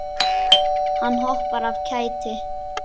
Hann hoppar af kæti.